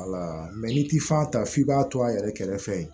n'i t'i fan ta f'i b'a to a yɛrɛ kɛrɛfɛ